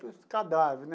Cadáver né.